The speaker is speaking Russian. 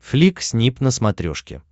флик снип на смотрешке